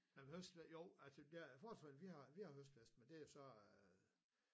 Nej men høstfest jo altså der Forsvaret vi har vi har høstfest men det jo så øh